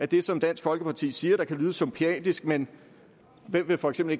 det som dansk folkeparti siger lyder som piatisk men hvem vil for eksempel